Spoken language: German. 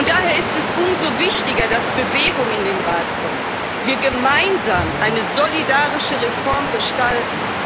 Daher ist es umso wichtiger, dass Bewegung in den Rat kommt, wir gemeinsam eine solidarische Reform gestalten.